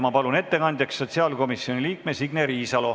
Ma palun ettekandjaks sotsiaalkomisjoni liikme Signe Riisalo.